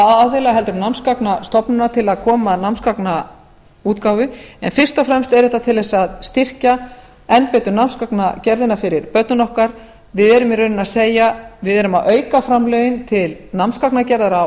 aðila heldur en námsgagnastofnunar til að koma að námsgagnaútgáfu en fyrst og fremst er þetta til að styrkja enn betur námsgagnagerðina fyrir börnin okkar við erum í rauninni að segja við erum að auka framlögin til námsgagnagerðar á